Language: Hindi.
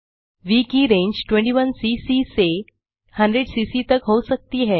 व की रेंज 21सीसी से 100सीसी तक हो सकती है